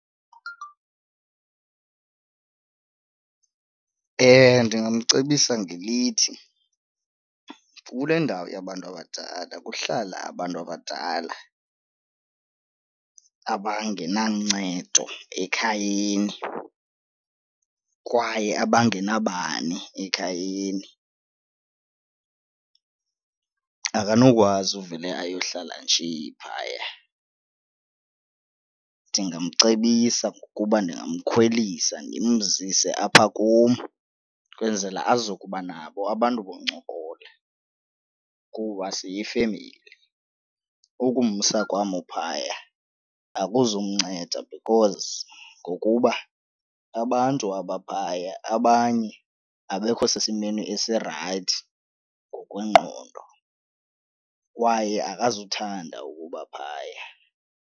Ndingamcebisa ngelithi, kule ndawo yabantu abadala kuhlala abantu abadala abangenancedo ekhayeni kwaye abangenabani ekhayeni, akanokwazi uvele ayohlala nje phaya. Ndingamcebisa ngokuba ndingamkhwelisa ndimzise apha kum kwenzela azokuba nabo abantu bokuncokola kuba siyifemeli. Ukumsa kwam uphaya akuzukumnceda because ngokuba abantu abaphaya abanye abekho sesimeni esirayithi ngokwengqondo kwaye akazuthanda ukuba phaya.